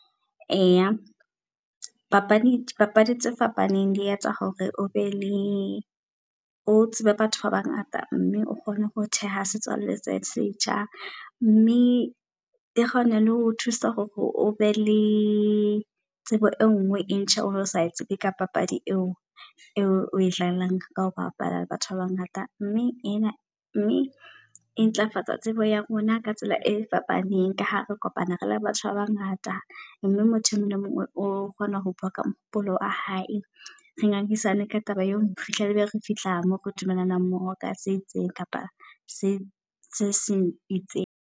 Eya papadi papadi tse fapaneng, le etsa hore o be le o tsebe batho ba bangata. Mme o kgona ho theha setswalle se setjha, mme e kgona le ho thusa hore o be le tsebo e nngwe e ntjha. Ono sa tsebe ka papadi eo, eo e dlalang ka ho bapala le batho ba bangata. Mme ena mme e ntlafatsa tsebo ya rona ka tsela e fapaneng ka ha re kopana re le batho ba bangata. Mme motho e mong le e mong o kgona ho bua ka mohopolo wa hae. Re ngangisane ka taba eo, ho fihlela be re fihla moo re dumelanang mmoho ka se itseng kapa se se seng itseng.